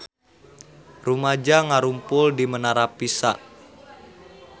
Rumaja ngarumpul di Menara Pisa